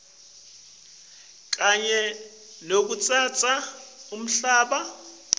kanye nekutsatsa umhlaba